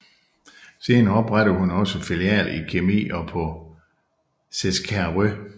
Senere oprettede hun også filialer i Kemi og på Seskarö